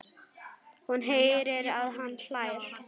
Hún heyrir að hann hlær.